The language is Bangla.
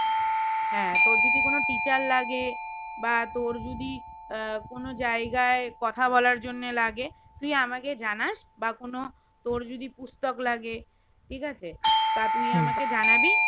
হ্যাঁ তোর যদি কোনো teacher লাগে বা তোর যদি আহ কোনো জায়গায় কথা বলার জন্য লাগে তুই আমাকে জানাস বা কোনো তোর যদি পুস্তক লাগে ঠিকাছে তা তুই আমাকে জানাবি